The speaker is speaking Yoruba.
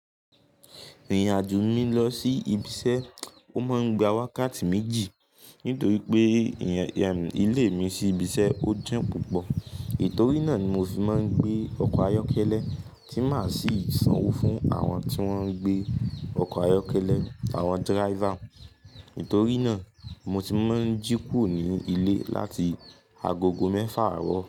Irin ajo mi lọ sí ibiṣẹ́, ó máa ń gba wakàtì méjì nítorí pé ìrìn ilé mi sí ibiṣẹ́ ó jín púpọ̀. Ètorí náà ni mo fi máa ń gbé ọkọ̀ ayọ́kẹ́lẹ́ tí màá sì sanwó fún àwọn tí wón ń gbé ọkọ̀ ayọ́kẹ́lẹ́, àwọn driver. Nítorí náà mo ti máa ń jíkù o ní ilé láti agogo mẹ́fà àárọ̀.